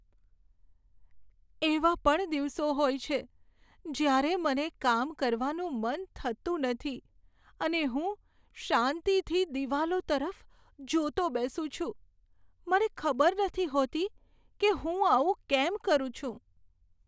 એવા પણ દિવસો હોય છે, જ્યારે મને કામ કરવાનું મન થતું નથી અને હું શાંતિથી દિવાલો તરફ જોતો બેસું છું, મને ખબર નથી હોતી કે હું આવું કેમ કરું છું.